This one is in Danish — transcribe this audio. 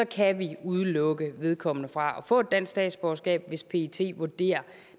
kan vi udelukke vedkommende fra at få et dansk statsborgerskab hvis pet vurderer